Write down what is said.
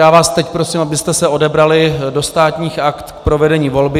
Já vás teď prosím, abyste se odebrali do Státních aktů k provedení volby.